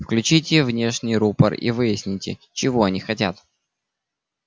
включите внешний рупор и выясните чего они хотят